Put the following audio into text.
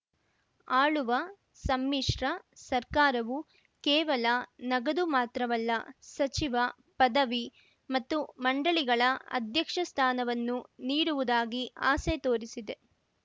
ಆಳುವ ಸಮ್ಮಿಶ್ರ ಸರ್ಕಾರವು ಕೇವಲ ನಗದು ಮಾತ್ರವಲ್ಲ ಸಚಿವ ಪದವಿ ಮತ್ತು ಮಂಡಳಿಗಳ ಅಧ್ಯಕ್ಷ ಸ್ಥಾನವನ್ನು ನೀಡುವುದಾಗಿ ಆಸೆ ತೋರಿಸಿದೆ